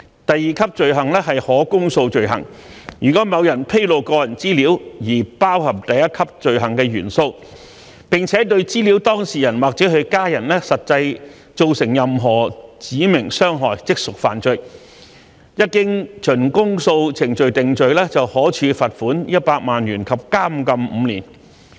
第二級罪行是可公訴罪行，如果某人披露個人資料，而此項披露包含第一級罪行的元素，並且對資料當事人或其家人實際造成任何指明傷害，即屬犯罪，一經循公訴程序定罪，可處罰款100萬元及監禁5年。